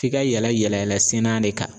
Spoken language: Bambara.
F'i ka yɛlɛ yɛlɛ yɛlɛ senna de ka